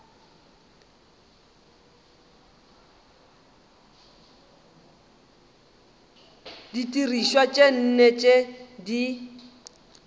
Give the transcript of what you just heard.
didirišwa tše nne tše di